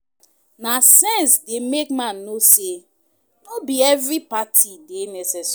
Na sense dey make man know say no bi evri party dey necessary